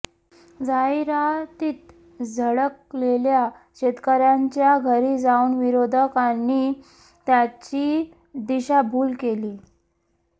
जाहिरातीत झळकलेल्या शेतकऱ्याच्या घरी जाऊन विरोधकांनी त्याची दिशाभूल केली